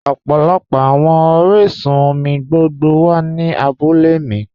Ọpọlọpọ awọn oriṣun-omi gbogbo wa ni àbúlẹ̀ mi